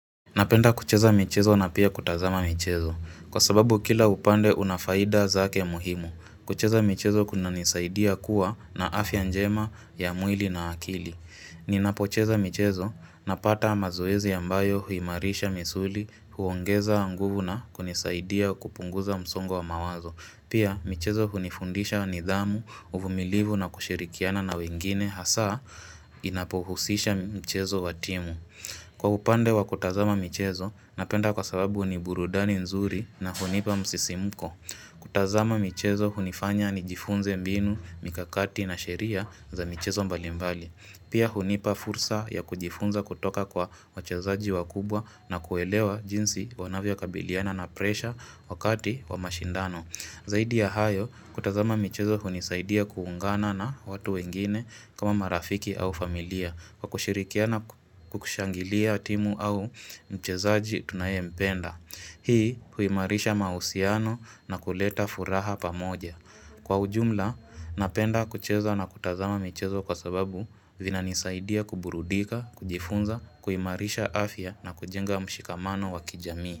Napenda kucheza michezo na pia kutazama michezo Kwa sababu kila upande una faida zake muhimu kucheza michezo kunanisaidia kuwa na afya njema ya mwili na akili Ninapocheza michezo napata mazoezi ambayo huimarisha misuli huongeza nguvu na kunisaidia kupunguza msongo mawazo Pia michezo hunifundisha nidhamu, uvumilivu na kushirikiana na wengine Hasa inapohusisha michezo wa timu Kwa upande wa kutazama michezo, napenda kwa sababu ni burudani nzuri na hunipa msisimuko. Kutazama michezo hunifanya ni jifunze mbinu, mikakati na sheria za michezo mbali mbali. Pia hunipa fursa ya kujifunza kutoka kwa wachezaji wakubwa na kuelewa jinsi wanavyo kabiliana na presha wakati wa mashindano. Zaidi ya hayo, kutazama michezo hunisaidia kuungana na watu wengine kama marafiki au familia kwa kushirikiana kukushangilia timu au mchezaji tunayempenda. Hii huimarisha mahusiano na kuleta furaha pamoja. Kwa ujumla, napenda kucheza na kutazama michezo kwa sababu vina nisaidia kuburudika, kujifunza, kuimarisha afya na kujenga mshikamano wa kijami.